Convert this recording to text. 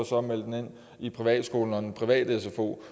så at melde dem ind i privatskolen og den private sfo